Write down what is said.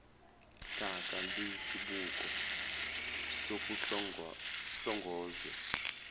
hlaka luyisibuko sokuhlongozwe